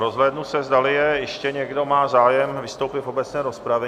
Rozhlédnu se, zdali ještě někdo má zájem vystoupit v obecné rozpravě.